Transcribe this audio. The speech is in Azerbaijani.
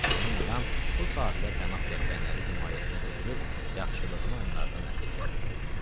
Həmin adam bu sahilə pənah gətirənləri himayəsinə götürüb, yaxşılığını onlardan əsirgəmirdi.